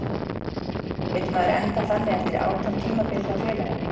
Vill maður enda þannig eftir átján tímabil hjá félaginu?